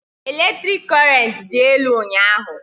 Eletrik korent dị elu ụnyaahụ